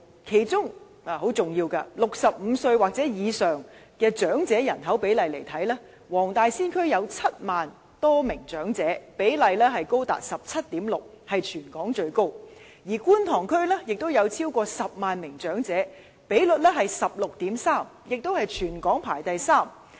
其中很重要的一點，是65歲或以上的長者人口比例，黃大仙區有7萬多名長者，比例高達 17.6%， 屬全港最高；而觀塘區也有超過10萬名長者，比例是 16.3%， 全港排第三位。